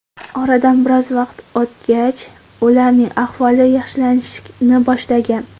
Oradan biroz vaqt o‘tgach, ularning ahvoli yaxshilanishni boshlagan.